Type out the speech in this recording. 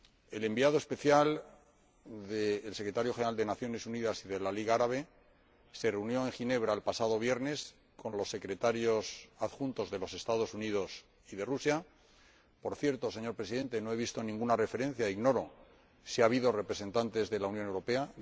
El Enviado especial del Secretario General de las Naciones Unidas y de la Liga Árabe se reunió en Ginebra, el pasado viernes, con los Secretarios Adjuntos de los Estados Unidos y de Rusia por cierto, señor Presidente, no he visto ninguna referencia e ignoro si ha habido representantes de la Unión Europea